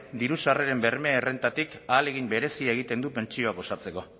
diru sarreren bermearen errentatik ahalegin berezia egiten du pentsioak osatzeko